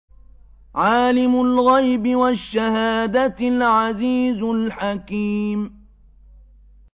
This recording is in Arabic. عَالِمُ الْغَيْبِ وَالشَّهَادَةِ الْعَزِيزُ الْحَكِيمُ